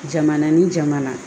Jamana ni jamana